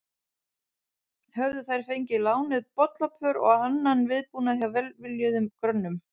Höfðu þær fengið lánuð bollapör og annan viðbúnað hjá velviljuðum grönnum.